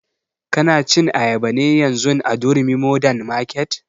Ka na cin ayaba ne yanzun a durumi modern market?